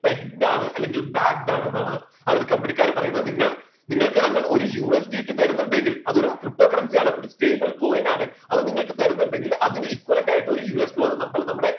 teched ആണ് അല്ലെങ്കിൽ backed ആണ് എന്നാണ്അതൊരു കമ്പനിക്കാര് പറയുന്നത് നിങ്ങൾ നിങ്ങൾക്ക് ഞങ്ങൾ ഒരു USDT തരുന്നുണ്ടെങ്കിൽ അതൊരു ptocurrency ആണ് stablecoin ആണ് അത് നിങ്ങൾക്ക് തരുന്നുണ്ടെങ്കിൽ അതിന് equivalent ആയിട്ട് ഒരു US Dollar നമ്മൾ നമ്മുടെ